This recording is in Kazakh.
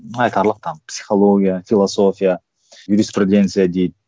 айтарлық там психология философия юриспреденция дейді